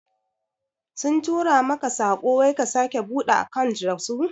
Sun tura maka tsako wai ka sake buɗe akant dasu?